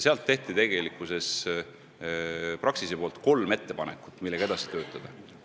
Praxis esitas meile kolm ettepanekut, mille kallal tuleks edasi töötada.